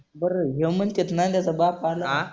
बरं ह्यो म्हणतायत नंद्याचा बाप आला का?